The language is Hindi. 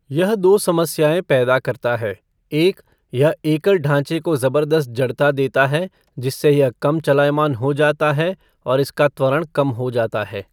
यह दो समस्याएं पैदा करता है एक, यह एकल ढाँचे को जबरदस्त जड़ता देता है, जिससे यह कम चलायमान हो जाता है और इसका त्वरण कम हो जाता है।